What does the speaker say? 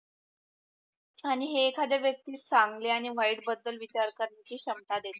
आणि एखाद्या व्यक्ति चांगली आणि वाईट बदल विचार करण्याची क्षमता देते.